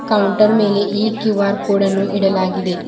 Counter ಮೇಲೆ ಈ Q R ಕೋಡನ್ನು ಇಡಲಾಗಿದೆ.